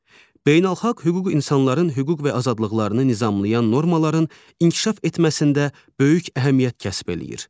Beynəlxalq hüquq insanların hüquq və azadlıqlarını nizamlayan normaların inkişaf etməsində böyük əhəmiyyət kəsb eləyir.